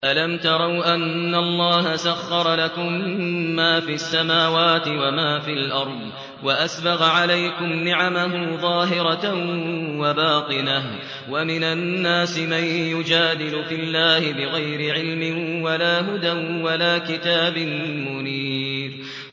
أَلَمْ تَرَوْا أَنَّ اللَّهَ سَخَّرَ لَكُم مَّا فِي السَّمَاوَاتِ وَمَا فِي الْأَرْضِ وَأَسْبَغَ عَلَيْكُمْ نِعَمَهُ ظَاهِرَةً وَبَاطِنَةً ۗ وَمِنَ النَّاسِ مَن يُجَادِلُ فِي اللَّهِ بِغَيْرِ عِلْمٍ وَلَا هُدًى وَلَا كِتَابٍ مُّنِيرٍ